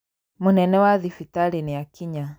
Mũnene wa thibitarĩ nĩakinya